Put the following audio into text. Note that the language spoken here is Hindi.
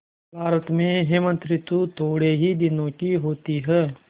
भारत में हेमंत ॠतु थोड़े ही दिनों की होती है